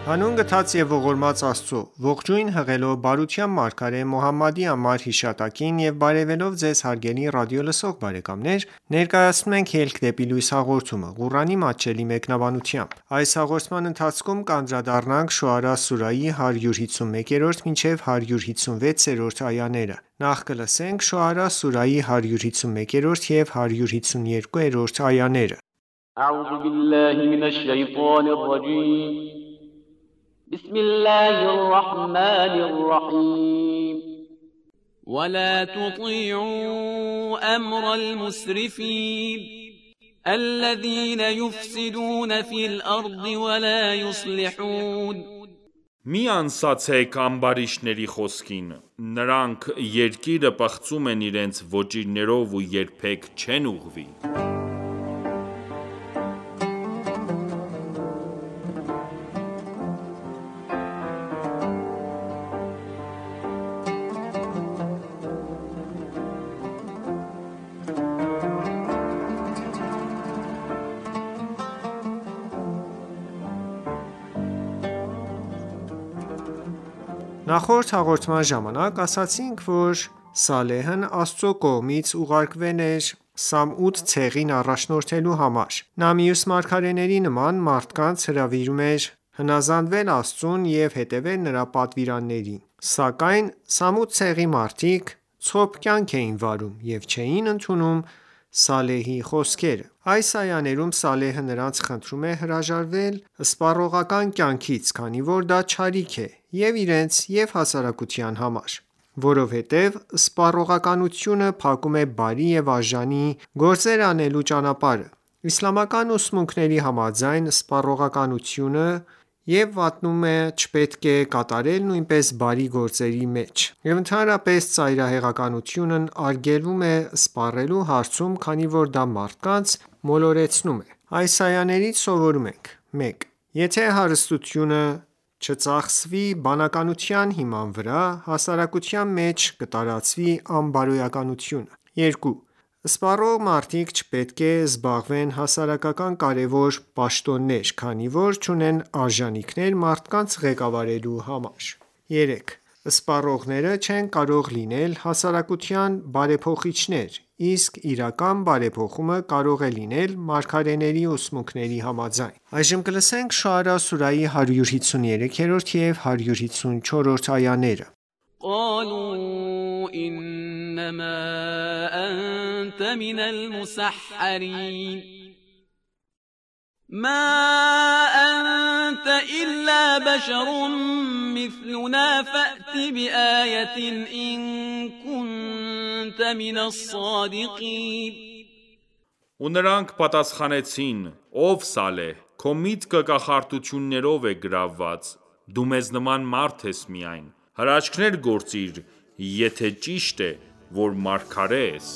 Հանուն գթած և ողորմած Աստծո:Ողջույն հղելով բարության մարգարե Մոհամմադի անմար հիշատակին եւ բարեւելով Ձեզ հարգելի ռադիոլսող բարեկամներ ներկայացնում ենք «Ելք դեպի լույս» հաղորդումը, Ղուրանի մատչելի մեկնաբանությամբ: Շոարա սուրահի 151 և 152-րդ այաներ وَلَا تُطِیعُوا أَمْرَ الْمُسْرِفِینَ الَّذِینَ یُفْسِدُونَ فِی الْأَرْضِ وَلَا یُصْلِحُونَ Մի անսացեք ամբարիշտների խոսքին: Նրանք երկիրը պղծում են իրենց ոճիրներով ու երբեք չեն ուղղվի: Նախորդ հաղորդման ժամանակ ասացինք, որ Սալեհն Աստծու կողմից ուղարկվել էր Սամուդ ցեղին առաջնորդելու համար: Նա մյուս մարգարեների նման, մարդկանց հրավիրում էր հնազանդվել Աստծուն և հետևել նրա պատվիրաններին: Սակայն Սամուդ ցեղի մարդիկ ցոփ կյանք էին վարում և չէին ընդունում Սալեհի խոսքերը: Այս այաներում, Սալեհը նրանց խնդրում է հրաժարվել սպառողական կյանքից, քանի որ դա չարիք է և' իրենց և' հասարակության նկատմամբ: Որովհետև սպառողականությունը փակում է բարի ու արժանի գործեր անելու ճանապարհը: Իսլամական ուսմունքների համաձայն սպառողականությունը և վատնումը չպետք է կատարել նույնիսկ բարի գործերի մեջ: Եվ ընդհանրապես ծայրահեղությունն արգելվում է սպառելու հարցում, քանի որ դա մարդկանց մոլորեցնում է: Այս այաներից սովորում ենք. 1. Եթե հարստությունը չծախսվի բանականության հիման վրա, հասարակության մեջ կտարածվի անբարոյականությունը: 2. Սպառող մարդիկ չպետք է զբաղեցնեն հասարակական կարևոր պաշտոններ, քանի որ չունեն արժանիքներ մարդկանց ղեկավարելու համար: 3. Սպառողները չեն կարող լինել հասարակության բարեփոխիչներ, իսկ իրական բարեխփումը կարող է լինել մարգարեների ուսմունքների համաձայն: Շոարա սուարյի 153 և 154-րդ այաներ قَالُوا إِنَّمَا أَنتَ مِنَ الْمُسَحَّرِینَ مَا أَنتَ إِلَّا بَشَرٌ مِّثْلُنَا فَأْتِ بِآیَةٍ إِن کُنتَ مِنَ الصَّادِقِینَ Ու նրանք պատասխանեցին. «(Ով Սալեհ)քո միտքը կախարդություններով է գրավված»: Դու մեզ նման մարդ ես միայն, հրաշքներ գործիր, եթե ճիշտ է, որ մարգարե ես: